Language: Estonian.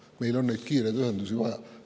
" Meil on neid kiireid ühendusi vaja.